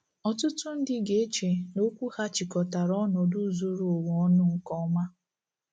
Ọtụtụ ndị ga-eche na okwu ya chịkọtara ọnọdụ zuru ụwa ọnụ nke ọma.